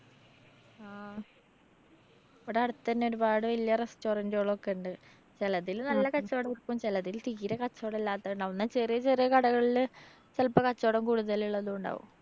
ആ ഇവടെ അടുത്തന്നെ ഒരുപാട് വല്യ restaurant കളൊക്കെ ഉണ്ട്. ചെലതിൽ നല്ല കച്ചോടം കിട്ടും ചെലതില് തീരെ കച്ചോടല്ലാത്തത് ഇണ്ടാവും. എന്നാ ചെറിയ ചെറിയ കടകളില് ചെലപ്പോ കച്ചോടം കൂടുതല്ലുള്ളതും ഉണ്ടാവും.